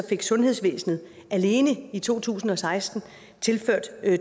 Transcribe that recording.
fik sundhedsvæsenet alene i to tusind og seksten tilført